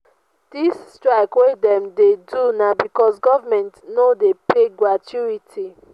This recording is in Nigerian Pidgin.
dis strike wey dem dey do na because government no dey pay gratuity.